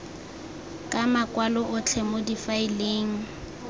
ka makwalo otlhe mo difaeleng